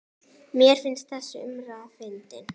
Mér finnst þessi umræða fyndin.